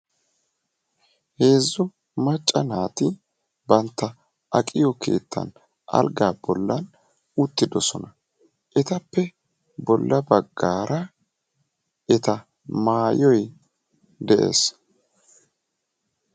Heezzu macca naati bantta aqiyo keetta algaa bolan uttidosona. Etappe bolla baggaara eta maayoy de'ees.